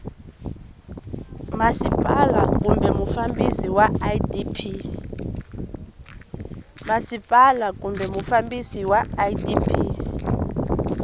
masipala kumbe mufambisi wa idp